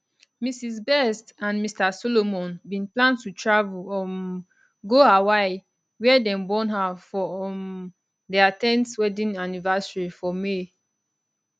mrs best and mr solomon bin plan to travel um go hawaii wia dem born her for um dia 10th wedding anniversary for may